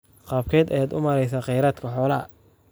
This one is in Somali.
Qaabkee ayaad u maareysaa kheyraadka xoolaha?